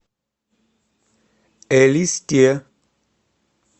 элисте